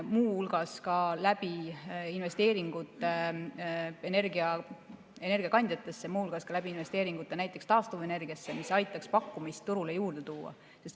Muu hulgas ka läbi investeeringute energiakandjatesse, muu hulgas ka läbi investeeringute näiteks taastuvenergiasse, mis aitaks pakkumist turule juurde tuua.